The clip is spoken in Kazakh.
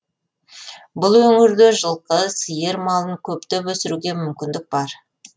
бұл өңірде жылқы сиыр малын көптеп өсіруге мүмкіндік бар